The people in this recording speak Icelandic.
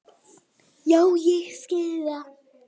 Já ég skil það.